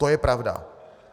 To je pravda.